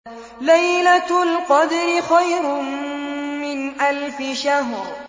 لَيْلَةُ الْقَدْرِ خَيْرٌ مِّنْ أَلْفِ شَهْرٍ